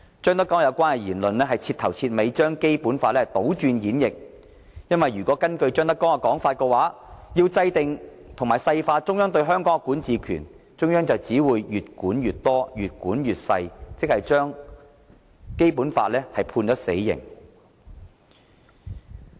張德江的有關言論徹頭徹尾地把《基本法》倒轉演繹，因為根據張德江的說法，要制訂和細化中央對香港的管治權，中央只會越管越多，越管越細微，這等於把《基本法》判死刑。